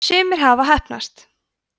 sumir hafa heppnast